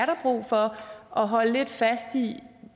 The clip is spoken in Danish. holde lidt fast i